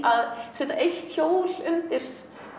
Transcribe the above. að setja eitt hjól undir